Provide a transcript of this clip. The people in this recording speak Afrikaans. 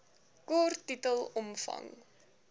kort titel omvang